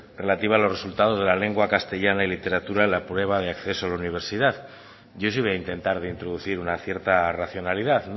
relativa a los resultados de la lengua castellana y literatura en la prueba de acceso a la universidad yo sí voy a intentar de introducir una cierta racionalidad